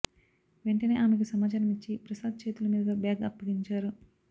వెంటనే ఆమెకు సమాచారం ఇచ్చి ప్రసాద్ చేతుల మీదుగా బ్యాగ్ అప్పగించారు